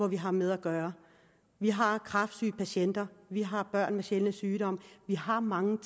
vi har med at gøre vi har kræftsyge patienter vi har børn med sjældne sygdomme vi har mange